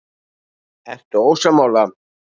Ertu ósammála?